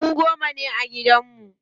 Mu goma ne a gidan mu.